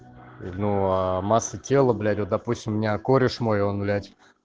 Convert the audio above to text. ну а масса тела блять вот допустим у меня кореш мой он блять